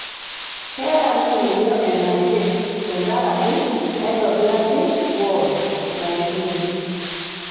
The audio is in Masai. Keeta noo yeyio enashe tenkaraki neitobiraki wod naishoreki